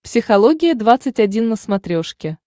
психология двадцать один на смотрешке